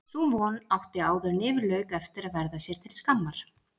Sú von átti áðuren yfir lauk eftir að verða sér til skammar.